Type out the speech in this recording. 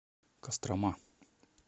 кострома